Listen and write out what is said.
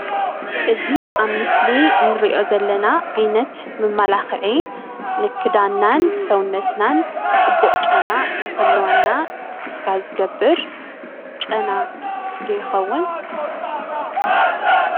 እዙይ ኣብ ምስሊ እንርእዮ ዘለና ዓይነት መመላክዒ ንክዳናን ሰውነትናን ፅቡቅ ጨና ንክህልዎና ዝገብር ጨና ዶ ይከውን?